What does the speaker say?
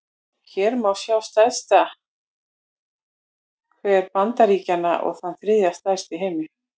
Hér má sjá stærsta hver Bandaríkjanna, og þann þriðja stærsta í heimi.